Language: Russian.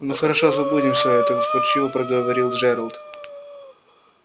ну хорошо забудем все это вкрадчиво проговорил джералд